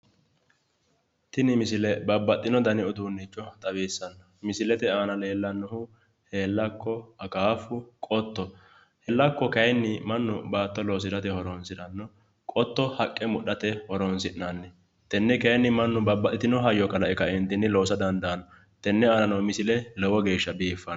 Tini misile babbaxino dani uduune leelishano, aana leelanohu heelakko ,akkafu, qotto, baatto loosirate, mesane haqqa bocirate tenne babbaxitino hayyo dandano, tene aana no misile lowo geeshsha biiffano